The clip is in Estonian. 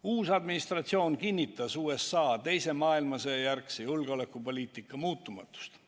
Uus administratsioon on kinnitanud USA teise maailmasõja järgse julgeolekupoliitika muutumatust.